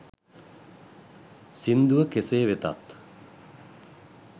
සිංදුව කෙසේ වෙතත්